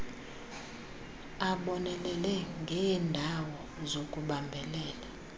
abonelele ngeendawo zokubambelela